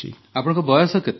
ଆପଣଙ୍କ ବୟସ କେତେ